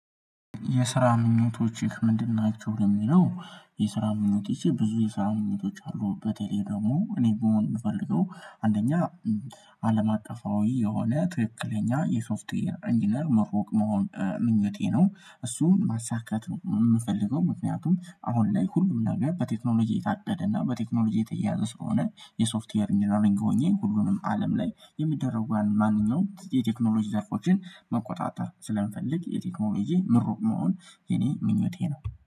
የስራ ምኞቶችህ ምንድን ናቸው? ለሚለው የስራ ምኞቶቼ ብዙ የስራ ምኞቶች አሉበት። የሌለው እኔ በመሆን የምፈልገው አንደኛ አለም አቀፋዊ የሆነ ትክክለኛ የሶፍትዌር ኢንጂነር መሆን ምኞቴ ነው። እሱን ማሳካት ነው የምፈልገው። ምክንያቱም አሁን ላይ ሁሉም ነገር በቴክኖሎጂ የታደገና በቴክኖሎጂ የተያያዘ ስለሆነ፤ የሶፍትዌር ኢንጀነሪንግ ሆኜ ሁሉንም አለም ላይ የሚደረጉት ማንኛውም የቴክኖሎጂ ዘርፎችን መቆጣጠር ስለምፈልግ። የቴክኖሎጂ ምሩቅ መሆን የኔ ምኞቴ ነው።